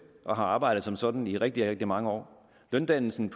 og har arbejdet som sådan i rigtig rigtig mange år løndannelsen